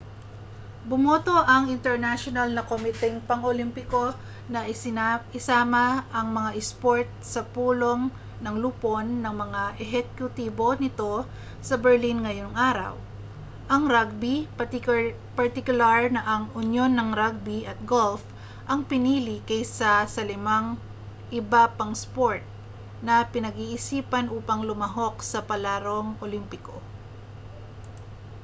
bumoto ang internasyonal na komiteng pang-olympiko na isama ang mga isport sa pulong ng lupon ng mga ehekutibo nito sa berlin ngayong araw ang rugby partikular na ang unyon ng rugby at golf ang pinili kaysa sa limang iba pang isport na pag-iisipan upang lumahok sa palarong olimpiko